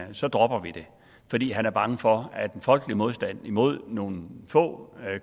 så dropper vi det fordi han er bange for at den folkelige modstand imod nogle få